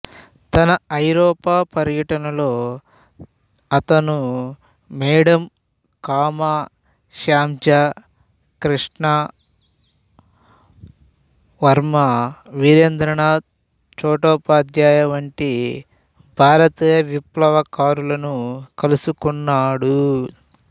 తన ఐరోపా పర్యటనలో అతను మేడమ్ కామా శ్యామ్జీ కృష్ణ వర్మ వీరేంద్రనాథ్ చటోపాధ్యాయ వంటి భారతీయ విప్లవకారులను కలుసుకున్నాడు